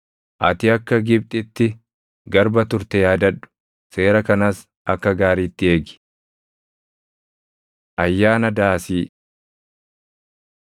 Ati akka Gibxitti garba turte yaadadhu; seera kanas akka gaariitti eegi. Ayyaana Daasii 16:13‑17 kwf – Lew 23:33‑43; Lak 29:12‑39